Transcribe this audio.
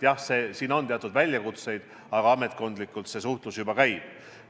Jah, siin on teatud väljakutseid, aga ametkondlikult see suhtlus juba käib.